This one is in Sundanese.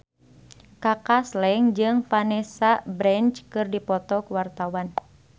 Kaka Slank jeung Vanessa Branch keur dipoto ku wartawan